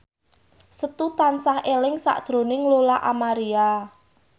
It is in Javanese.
Setu tansah eling sakjroning Lola Amaria